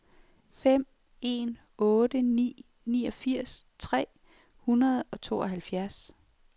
fem en otte ni niogfirs tre hundrede og tooghalvfjerds